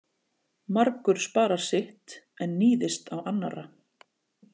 Margur sparar sitt en níðist á annarra.